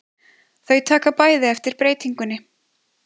Þau taka bæði eftir breytingunni.